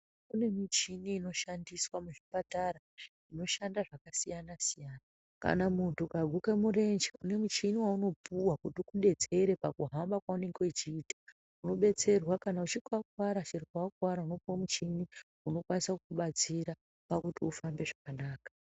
Kune michini inoshandiswa muzvipatara inoshandà zvakasiyana siyana kana muntu ukaguke murwnje une muchini waunopuwa kuti ukudetsere pakuhamba kwaunenge uchiita unobetserwa kana uchinge wakuwara chero pawakuwara unopuwe muchini unokwanisa kubatsira pakuti ufambe zvakanaka.